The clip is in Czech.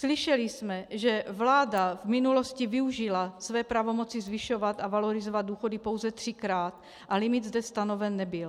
Slyšeli jsme, že vláda v minulosti využila své pravomoci zvyšovat a valorizovat důchody pouze třikrát a limit zde stanoven nebyl.